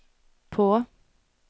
på